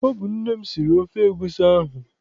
Ọ bụ nne m siri ofe egusi ahụ.